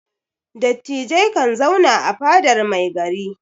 Dattijai kan zauna a fadar mai gari.